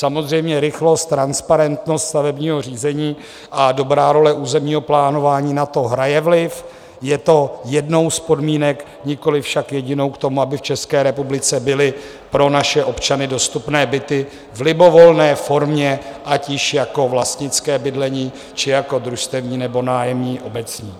Samozřejmě rychlost, transparentnost stavebního řízení a dobrá role územního plánování na to hraje vliv, je to jednou z podmínek, nikoli však jedinou k tomu, aby v České republice byly pro naše občany dostupné byty v libovolné formě, ať již jako vlastnické bydlení, či jako družstevní, nebo nájemní obecní.